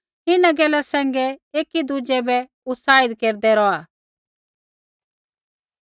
इन्हां गैला सैंघै एकी दुज़ै बै उत्साहित केरदै रौहा